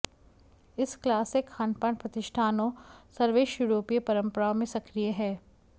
इस क्लासिक खानपान प्रतिष्ठानों सर्वश्रेष्ठ यूरोपीय परंपराओं में सक्रिय है